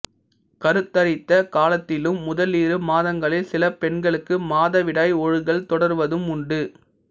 கருத்தரித்த காலத்திலும் முதலிரு மாதங்களில் சில பெண்களுக்கு மாதவிடாய் ஒழுகல் தொடர்வதும் உண்டு